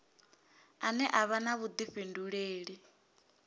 ane a vha na vhudifhinduleli